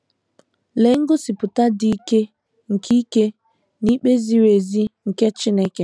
Lee ngosipụta dị ike nke ike na ikpe ziri ezi nke Chineke nke a bụ!